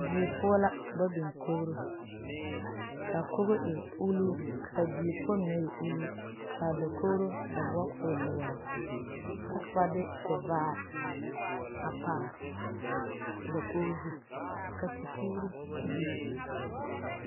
Die poɔ la ka ba biŋ kori , kaa kogi e ulʋʋ kaa die poɔ meŋɛ e uluu kaa dakori a da boɔ kɔɔ e doɔre kyɛ ka ba de tivaare a pare a dakogi zu ka tipuuri a bebe